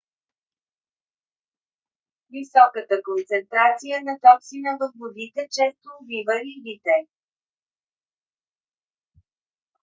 високата концентрация на токсина във водите често убива рибите